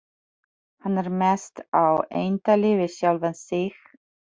Hann er mest á eintali við sjálfan sig.